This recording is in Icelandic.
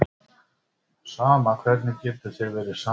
Sama, hvernig getur þér verið sama?